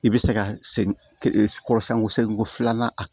I bɛ se ka segin kɔrɔ sanko segin ko filanan a